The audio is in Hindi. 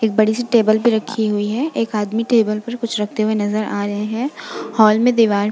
एक बड़ी-सी टेबल पे रखी हुई है। एक आदमी टेबल पर कुछ रखते हुए नजर आ रहे हैं। हॉल में दीवार --